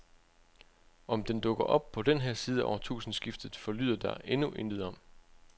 Om den dukker op på den her side af årtusindskiftet forlyder der endnu intet om.